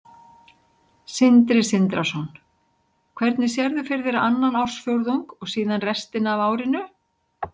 Sindri Sindrason: Hvernig sérðu fyrir þér annan ársfjórðung og síðan restina af árinu?